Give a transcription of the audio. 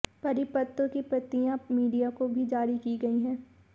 परिपत्र की प्रतियां मीडिया को भी जारी की गई है